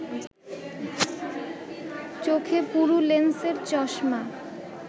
চোখে পুরু লেন্সের চশমা